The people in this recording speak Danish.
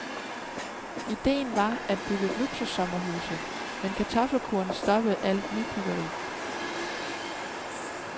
Idéen var at bygge luksussommerhuse, men kartoffelkuren stoppede alt nybyggeri.